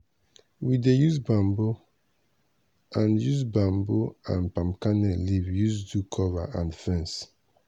we dey use bamboo and use bamboo and palm kernel leaf use do cover and fence.